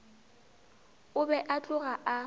o be a tloga a